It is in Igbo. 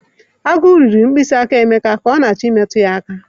Agu riri mkpịsị aka Emeka ka ọ na-achọ imetụ ya aka